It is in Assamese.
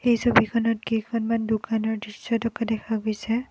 এই ছবিখনত কেইখনমান দোকানৰ দৃশ্য থকা দেখা গৈছে।